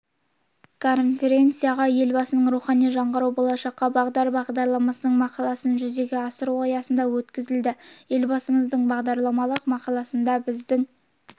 конференция елбасының рухани жаңғыру болашаққа бағдар бағдарламасының мақаласын жүзеге асыру аясында өткізілді елбасымыздың бағдарламалық мақаласында біздің